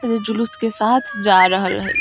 एजा जुलुस के साथ जा रहल हई।